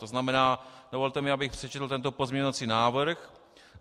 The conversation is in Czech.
To znamená, dovolte mi, abych přečetl tento pozměňovací návrh: